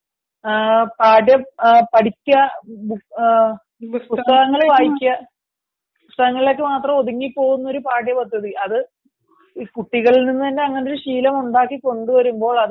പഠിക്കുക പുസ്തകങ്ങൾ വായിക്കുക, പുസ്തകങ്ങളിൽ മാത്രം ഒതുങ്ങി പോവുന്ന ഒരു പാഠ്യപദ്ധതി അത് കുട്ടികളിൽ നിന്ന് അങ്ങനത്തെ ഒരു ശീലം ഉണ്ടാക്കി കൊണ്ടുവരുമ്പോൾ